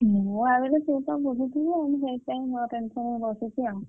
ମୁଁ ଭାବିଲି ତୁ ତ ବୁଝୁଥିବୁ ମୁଁ ସେଇଥିପାଇଁ no tension ରେ ବସିଛି ଆଉ।